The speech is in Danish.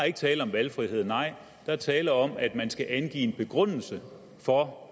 ikke tale om valgfrihed nej der er tale om at man skal angive en begrundelse for